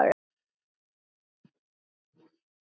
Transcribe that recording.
Þetta var góð ferð.